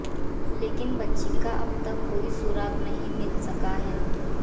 लेकिन बच्ची का अब तक कोई सुराग नहीं मिल सका है